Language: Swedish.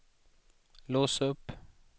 lås upp